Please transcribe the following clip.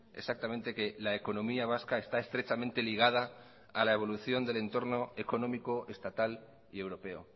exactamente que la economía vasca está estrechamente ligada la evolución del entorno económico estatal y europeo